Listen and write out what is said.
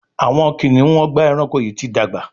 Awọn kiniun Ọgbà ẹranko yi ti dàgbà